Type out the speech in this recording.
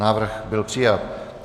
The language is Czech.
Návrh byl přijat.